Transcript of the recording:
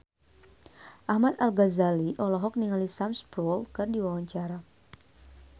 Ahmad Al-Ghazali olohok ningali Sam Spruell keur diwawancara